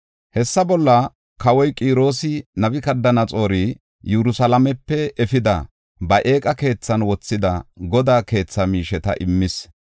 Hessa bolla kawoy Qiroosi Nabukadanaxoori Yerusalaamepe efidi ba eeqa keethan wothida Godaa keethaa miisheta immis.